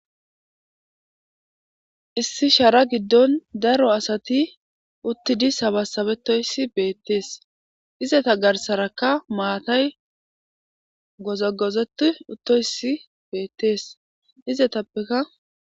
Issi shara giddon daro asati uttidi sabasabetoyssi beettees izata garsarakka maatay gozagoze uttoyssi beettees izetappeka